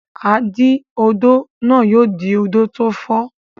Adí-odó náà yóò dí odò tó fi.